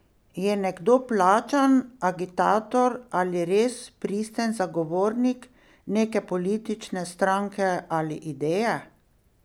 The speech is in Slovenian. Je nekdo plačan agitator ali res pristen zagovornik neke politične stranke ali ideje?